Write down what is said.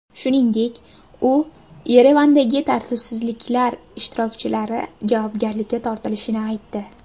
Shuningdek, u Yerevandagi tartibsizliklar ishtirokchilari javobgarlikka tortilishini aytdi.